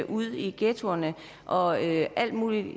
ud i ghettoerne og alt muligt